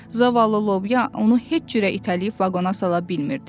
Zavallı lobya onu heç cürə itələyib vaqona sala bilmirdi.